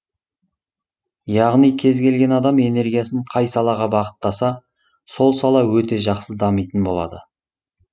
яғни кез келген адам энергиясын қай салаға бағыттаса сол сала өте жақсы дамитын болады